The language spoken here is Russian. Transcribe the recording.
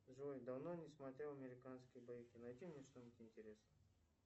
джой давно не смотрел американские боевики найди мне что нибудь интересное